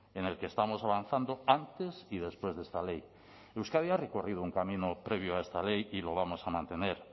en el que estamos avanzando antes y después de esta ley euskadi ha recorrido un camino previo a esta ley y lo vamos a mantener